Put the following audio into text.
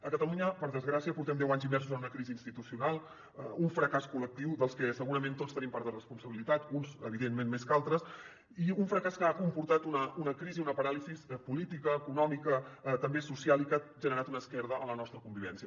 a catalunya per desgràcia portem deu anys immersos en una crisi institucional un fracàs col·lectiu dels que segurament tots tenim part de responsabilitat uns evidentment més que altres i un fracàs que ha comportat una crisi una paràlisi política econòmica també social i que ha generat una esquerda en la nostra convivència